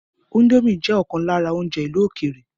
Índòmí jẹ ọkan lára oúnjẹ ìlú ókéré.